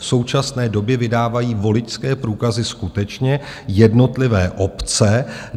V současné době vydávají voličské průkazy skutečně jednotlivé obce.